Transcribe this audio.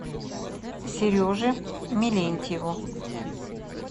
сереже мелентьеву